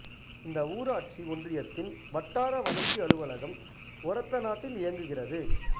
இந்த ஊராட்சி ஒன்றியத்தின் வட்டார வளர்ச்சி அலுவலகம் ஒரத்தநாட்டில் இயங்குகிறது